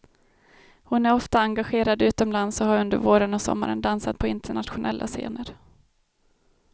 Hon är ofta engagerad utomlands och har under våren och sommaren dansat på internationella scener.